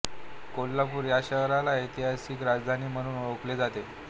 कोल्हापूर या शहराला ऐतिहासिक राजधानी म्हणून ओळखले जाते